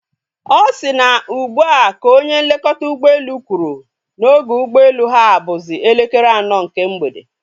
Ọ si na ugbua ka onye nlekọta ụgbọelu kwụrụ na oge ụgbọelu ha bụzi elekere anọ nke mgbede